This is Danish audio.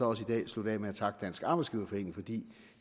også i dag slutte af med at takke dansk arbejdsgiverforening fordi